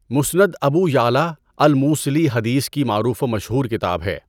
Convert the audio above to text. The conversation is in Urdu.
مُسنَد ابو يَعلىٰ الموصلی حدیث کی معروف و مشہور کتاب ہے۔